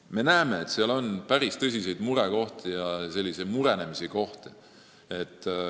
Me näeme, et seal on päris tõsiseid murekohti ja n-ö murenemise kohti.